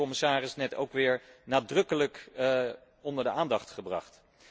Dat heeft ook de commissaris net weer nadrukkelijk onder de aandacht gebracht.